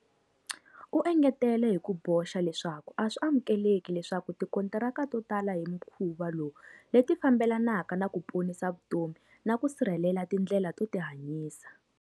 U engetele hi ku boxa leswaku a swi amukeleki leswaku tikontaraka to tala hi mukhuva lowu leti fambelanaka na ku ponisa vutomi na ku sirhelela tindlela to tihanyisa.